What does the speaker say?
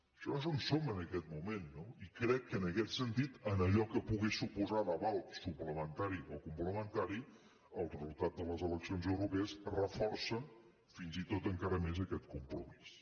això és on som en aquest moment no i crec que en aquest sentit en allò que pogués suposar d’aval suplementari o complementari el resultat de les eleccions europees reforça fins i tot encara més aquest compromís